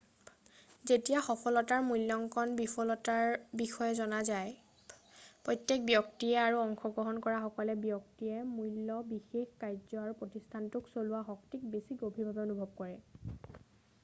যেতিয়া সফলতাৰ মূল্যঙ্কণ বিফলতাৰ বিষয়ে জনা যায় প্ৰত্যেক ব্যক্তিয়ে আৰু অংশগ্ৰহণ কৰা সকলো ব্যক্তিয়ে মূল্য বিশেষ কাৰ্য আৰু প্ৰতিষ্ঠানটোক চলোৱা শক্তিক বেছি গভীৰভাৱে অনুভৱ কৰে